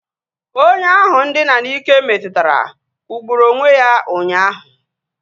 Onye ahụ ndina n'ike metụtara kwụgburu onwe ya ụnyaahụ